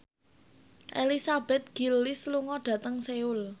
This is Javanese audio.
Elizabeth Gillies lunga dhateng Seoul